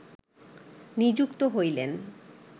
নিযুক্ত হইলেন